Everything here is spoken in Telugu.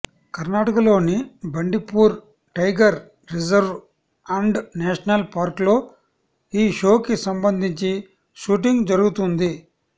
కర్ణాటకలోని Bandipur tiger reserve and national park లో ఈ షో కి సంబంధించి షూటింగ్ జరుగుతుంది